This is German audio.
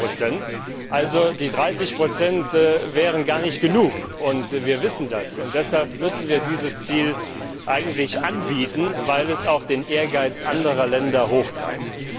und 40 Die 30 wären also gar nicht genug, wir wissen das, und deshalb müssen wir dieses Ziel eigentlich anbieten, weil es auch den Ehrgeiz anderer Länder hochtreibt.